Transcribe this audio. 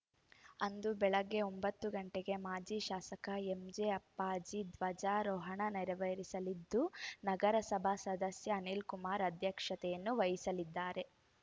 ಅಂದು ಬೆಳಗ್ಗೆ ಒಂಬತ್ತು ಗಂಟೆಗೆ ಮಾಜಿ ಶಾಸಕ ಎಂಜೆ ಅಪ್ಪಾಜಿ ಧ್ವಜಾರೋಹಣ ನೆರವೇರಿಸಲಿದ್ದು ನಗರಸಭಾ ಸದಸ್ಯ ಅನಿಲ್‌ಕುಮಾರ್‌ ಅಧ್ಯಕ್ಷತೆ ವಹಿಸಲಿದ್ದಾರೆ